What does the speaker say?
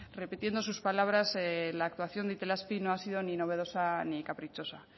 repitiendo sus palabras la actuación de itelazpi no ha sido ni novedosa ni caprichosa